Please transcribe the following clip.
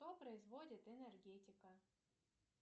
что производит энергетика